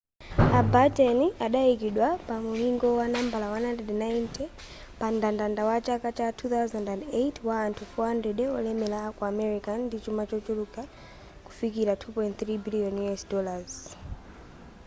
a batten adayikidwa pamulingo wa nambala 190 pamndandanda wa chaka cha 2008 wa anthu 400 wolemera aku america ndi chuma chochuluka kufikira $2.3 biliyoni